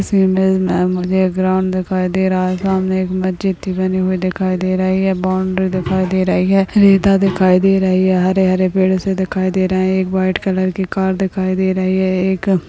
इस इमेज मे मुझे एक ग्राउंड दिखाई दे रहा है सामने एक मस्जिद भी बनी हुए दिखाई दे रही है बॉउंड्री दिखाई दे रही है रेता दिखाई दे रही है हरे हरे पेड़ से दिखाई दे रहे है एक वाइट कलर की कार दिखाई दे रही है एक --